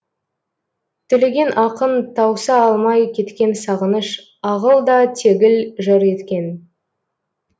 төлеген ақын тауса алмай кеткен сағыныш ағыл да тегіл жыр еткен